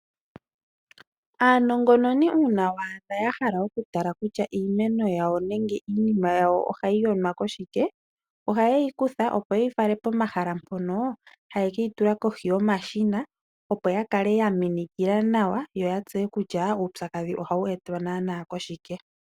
Aanongononi uuna waadha yahala okutala kutya iimeno yawo nenge iinima yawo ohayi yonwa koshike, ohaye yikutha opo yeyi fale pomahala mpono haye keyitula kohi yomashina opo yakale yaminikila nawa yoya tseye kutya uupyakadhi ohawu etwa naana koshike.